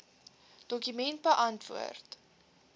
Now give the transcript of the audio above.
dokument beantwoord